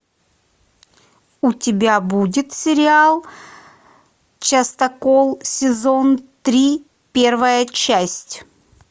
у тебя будет сериал частокол сезон три первая часть